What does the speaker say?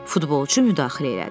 Futbolçu müdaxilə elədi.